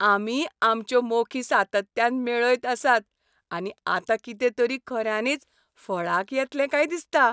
आमी आमच्यो मोखी सातत्यान मेळयत आसात आनी आतां कितें तरी खऱ्यांनीच फळाक येतलें काय दिसता.